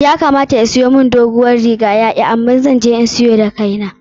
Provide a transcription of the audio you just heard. Ya kamata ya siyon mun dogon riga amma ya ki,. Zan je ni kasuwa da kai na na siyo.